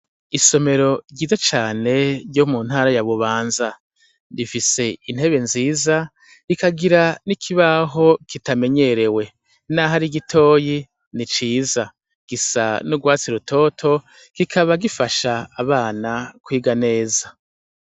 Isomero ryiza cane ryo mu ntara ya Bubanza. Rifise inetebe nziza rikagira n'ikibaho kitamenyerewe. Naho ari gitoyi ni ciza. Gisa n'ugwatsi rutoto kikaba gifaha abana kwiga neza.